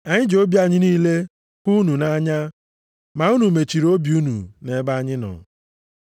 Anyị ji obi anyị niile hụ unu nʼanya, ma unu mechiri obi unu nʼebe anyị nọ.